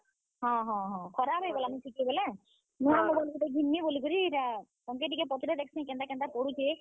ହଁ ହଁ ହଁ, ନୁଆଁ mobile ଟେ ଘିନ୍ ମି ବୋଲିକରି ଇଟା ତମକେ ଟିକେ ପଚରେଇଁ ଦେଖସିଁ କେନ୍ତା, କେନ୍ତା ପଡୁଛେ।